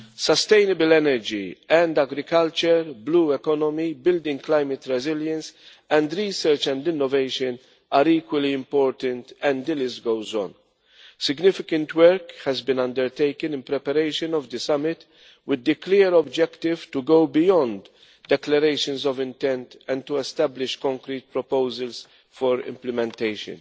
Sustainable energy and agriculture, the blue economy, building climate resilience, and research and innovation are equally important, and the list goes on. Significant work has been undertaken in preparation of the summit with the clear objective to go beyond declarations of intent and to establish concrete proposals for implementation.